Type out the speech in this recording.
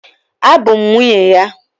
Abụ m nwunye ya